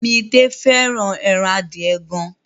Midé fẹ́ràn ẹran adìẹ gan.